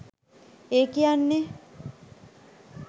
ඒ කියන්නේ